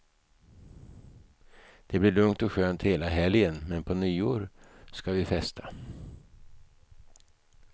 Det blir lugnt och skönt hela helgen, men på nyår ska vi festa.